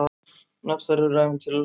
Nöfn þeirra eru ævintýraleg.